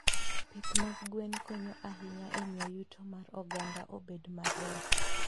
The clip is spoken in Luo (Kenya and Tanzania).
Pith mag gwen konyo ahinya e miyo yuto mar oganda obed maber.